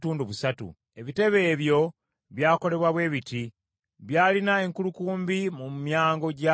Ebitebe ebyo by’akolebwa bwe biti: byalina enkulukumbi mu myango gyabyo.